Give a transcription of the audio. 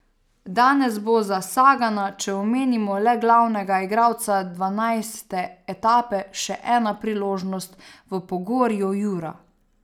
Danes bo za Sagana, če omenimo le glavnega igralca dvanajste etape, še ena priložnost v pogorju Jura.